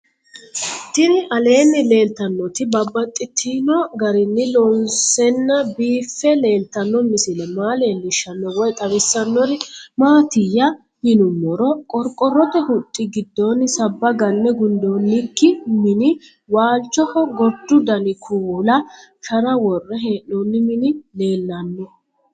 Tinni aleenni leelittannotti babaxxittinno garinni loonseenna biiffe leelittanno misile maa leelishshanno woy xawisannori maattiya yinummoro qoriqorotte huxxi gidoonni sabba ganne gundoonikki minni waalichoho goridu danni kuulla shara worre hee'nonni mini leelanno